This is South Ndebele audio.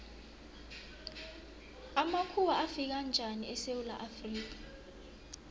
amakhuwa afika njani esewula afrika